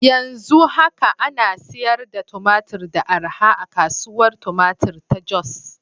Yanzu haka ana sayar da tumatur da arha a Kasuwar Tumatir ta Jos.